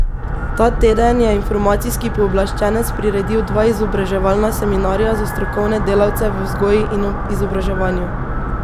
Ta teden je informacijski pooblaščenec priredil dva izobraževalna seminarja za strokovne delavce v vzgoji in izobraževanju.